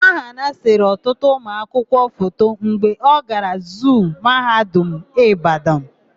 Ahanna sere ọtụtụ ụmụanụmanụ foto mgbe ọ gara zuu Mahadum Ịbadan.